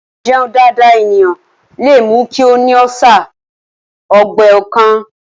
Àìjẹun dáadáa ènìyàn lè mú kí ó ní ọ́sà/ Ọgbẹ́ ọkàn